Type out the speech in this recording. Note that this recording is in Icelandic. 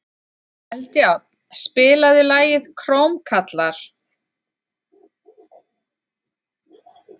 Eldjárn, spilaðu lagið „Krómkallar“.